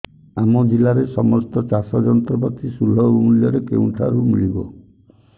ଆମ ଜିଲ୍ଲାରେ ସମସ୍ତ ଚାଷ ଯନ୍ତ୍ରପାତି ସୁଲଭ ମୁଲ୍ଯରେ କେଉଁଠାରୁ ମିଳିବ